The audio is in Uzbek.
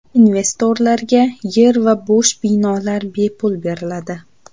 Investorlarga yer va bo‘sh binolar bepul beriladi.